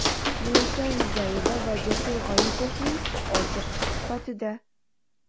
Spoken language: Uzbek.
Munisa Rizayeva va Jasur G‘oyipovning ochiq suhbatida.